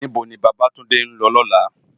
Nibó ni Babatunde n lò lòlá?